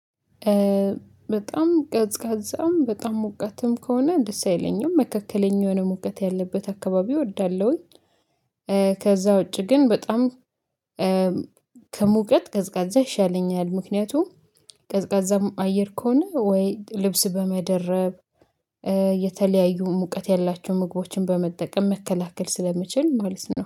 በጣም ቀዝቃዛም በጣም ሙቀትም ከሆነ ደስ አይለኝም መካከለኛ የሆነ ሙቀት ያለበት አካባቢ እወዳለሁኝ። ከዛ ውጪ ግን በጣም ከሙቀት ቀዝቃዛ ይሻለኛል። ምክንያቱም ቀዝቃዛም አየር ከሆነ ወይ ልብስ በመደረብ የተለያዩ ሙቀት ያላቸውን ምግቦችን በመጠቀም መከላከል ስለሚችል ማለት ነው